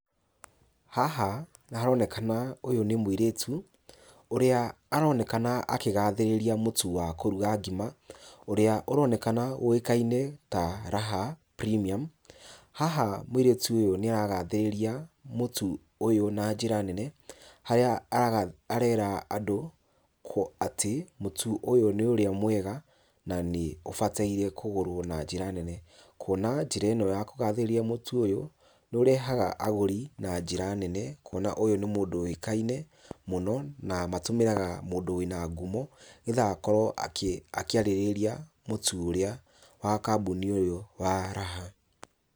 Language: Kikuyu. Haha haronekana ũyũ nĩ mũirĩtu, ũrĩa aronekana akĩgathĩrĩria mũtu wa kũruga ngima, ũrĩa ũronekana ũĩkaine ta Raha Premium, haha mũirĩtu ũyũ nĩaragathĩrĩria mũtu ũyũ na njĩra nene, harĩa ara arera andũ, kũ atĩ, mũtu ũyũ nĩ ũrĩa mwega, na nĩ ũbataire kũgũrwo na njĩra nene, kuona njĩra ĩno ya kũgathĩrĩria mũtu ũyũ, nĩũrehaga agũri na njĩra nene, kuona ũyũ nĩ mũndũ ũĩkaine mũno, na matũmĩraga mũndũ wĩna ngumo, nĩgetha akorwo akĩ akĩarĩrĩria mũtu ũrĩa, wa kambuni ũyũ wa Raha.